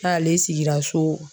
N'ale sigira so